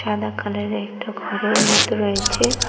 সাদা কালারের একটা ঘরের মতো রয়েছে ।